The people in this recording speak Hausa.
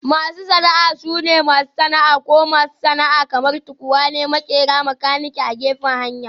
Masu sana'a sune masu sana'a ko masu sana'a kamar; tukwane, maƙera, makanikai a gefen hanya